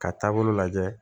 Ka taabolo lajɛ